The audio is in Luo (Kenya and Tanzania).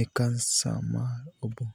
e kansa mar oboo.